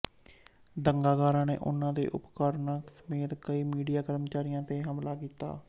ਦੰਗਾਕਾਰੀਆਂ ਨੇ ਉਨ੍ਹਾਂ ਦੇ ਉਪਕਰਣਾਂ ਸਮੇਤ ਕਈ ਮੀਡੀਆ ਕਰਮਚਾਰੀਆਂ ਤੇ ਹਮਲਾ ਕੀਤਾ